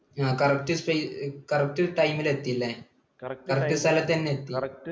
ആ correct ticorrect time ൽ എത്തി അല്ലേ? കൃത്യസ്ഥലത്തുതന്നെ എത്തി